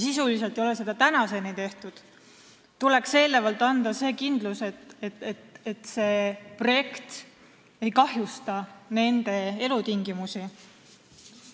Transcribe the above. Sisuliselt ei ole seda tehtud tänaseni, ehkki kodanikele tuleks anda kindlus, et see projekt ei kahjusta nende elutingimusi.